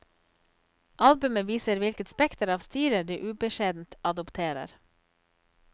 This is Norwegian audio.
Albumet viser hvilket spekter av stiler de ubeskjedent adopterer.